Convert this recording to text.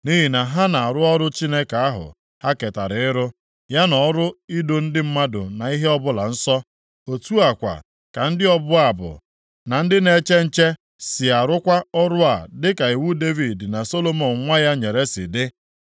Nʼihi na ha na-arụ ọrụ Chineke ahụ ha ketara ịrụ, ya na ọrụ ido ndị mmadụ na ihe ọbụla nsọ. Otu a kwa ka ndị ọbụ abụ, na ndị na-eche nche sị arụkwa ọrụ a dịka iwu Devid na Solomọn nwa ya nyere si dị.